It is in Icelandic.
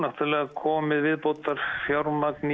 komið viðbótarfjármagn